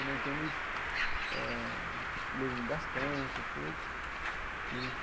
Né então, eles eh leem bastante e tudo.